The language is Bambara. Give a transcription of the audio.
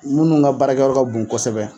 Minnu ka baarakɛyɔrɔ ka bon kosɛbɛ